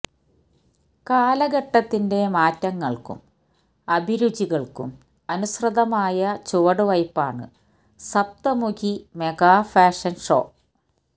കാലഘട്ടത്തിന്റെ മാറ്റങ്ങള്ക്കും അഭിരുചികള്ക്കും അനുസൃതമായ ചുവടുവയ്പ്പാണ് സപ്തമുഖി മെഗാ ഫാഷന് ഷോ